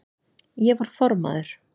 Ég var formaður